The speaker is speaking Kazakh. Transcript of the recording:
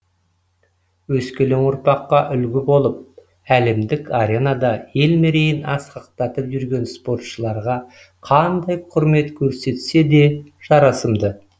өскелең ұрпаққа үлгі болып әлемдік аренада ел мерейін асқақтатып жүрген спортшыларға қандай құрмет көрсетсе де жарасымды